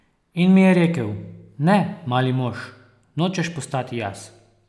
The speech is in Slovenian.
In mi je rekel: 'Ne, mali mož, nočeš postati jaz.